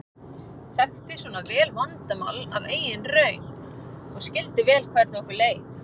Þekkti svona vandamál af eigin raun og skildi vel hvernig okkur leið.